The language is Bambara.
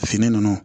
Fini nunnu